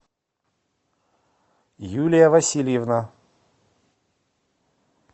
юлия васильевна